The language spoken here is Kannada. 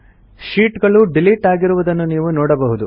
ಶೀಟ್ ಗಳು ಡಿಲಿಟ್ ಆಗಿರುವುದನ್ನು ನೀವು ನೋಡಬಹುದು